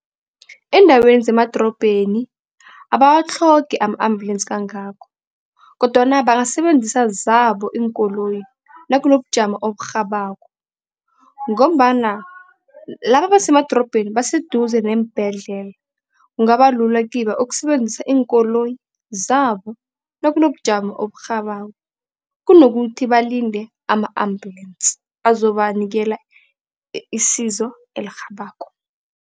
Eendaweni zemadrobheni abawatlhogi ama-ambulensi kangako kodwana bangasebenzisa zabo iinkoloyi nakunobujamo oburhabako ngombana laba abasemadrobheni baseduze neembedlela. Kungaba lula kibo ukusebenzisa iinkoloyi zabo nakunobujamo oburhabako, kunokuthi balinde ama-ambulensi azobanikela isizo elirhabako.